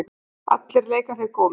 Allir leika þeir golf.